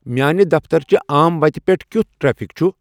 میانِہ دفتر چِہ عام وتِہ پیٹھ کِیُتھ ٹریفِک چُھ ؟